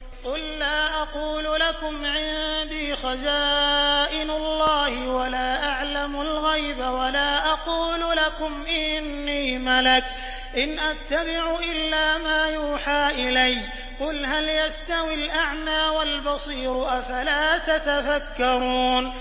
قُل لَّا أَقُولُ لَكُمْ عِندِي خَزَائِنُ اللَّهِ وَلَا أَعْلَمُ الْغَيْبَ وَلَا أَقُولُ لَكُمْ إِنِّي مَلَكٌ ۖ إِنْ أَتَّبِعُ إِلَّا مَا يُوحَىٰ إِلَيَّ ۚ قُلْ هَلْ يَسْتَوِي الْأَعْمَىٰ وَالْبَصِيرُ ۚ أَفَلَا تَتَفَكَّرُونَ